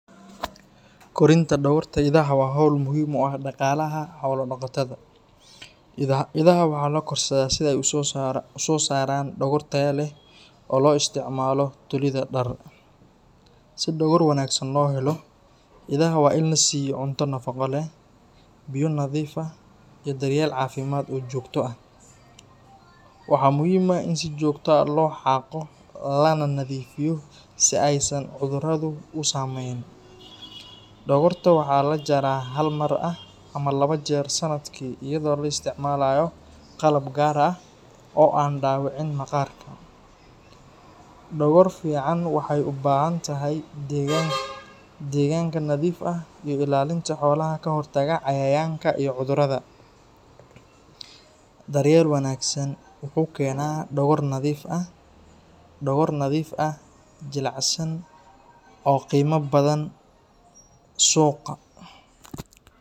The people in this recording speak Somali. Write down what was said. Korinta dhogorta idaha waa hawl muhiim u ah dhaqaalaha xoolo-dhaqatada. Idaha waxaa la korsadaa si ay u soo saaraan dhogor tayo leh oo loo isticmaalo tolidda dhar. Si dhogor wanaagsan loo helo, idaha waa in la siiyo cunto nafaqo leh, biyo nadiif ah, iyo daryeel caafimaad oo joogto ah. Waxaa muhiim ah in si joogto ah loo xaaqo lana nadiifiyo si aysan cuduradu u saameyn. Dhogorta waxaa la jaraa hal mar ama laba jeer sanadkii iyadoo la isticmaalayo qalab gaar ah oo aan dhaawicin maqaarka. Dhogor fiican waxay u baahan tahay deegaanka nadiif ah iyo ilaalinta xoolaha ka hortagga cayayaanka iyo cudurrada. Daryeel wanaagsan wuxuu keenaa dhogor nadiif ah, jilicsan oo qiimo badan suuqa.